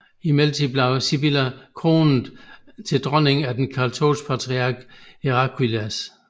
I mellemtiden blev Sibylla kronet til dronning af den katolske patriark Heraclius